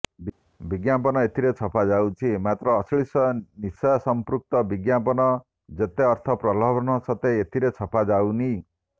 ବିଜ୍ଞାପନ ଏଥିରେ ଛପାଯାଉଛି ମାତ୍ର ଅଶ୍ଳୀଳ ନିଶାସମ୍ପୃକ୍ତ ବିଜ୍ଞାପନ ଯେତେ ଅର୍ଥ ପ୍ରଲୋଭନ ସତ୍ତ୍ବେ ଏଥିରେ ଛପା ଯାଉନି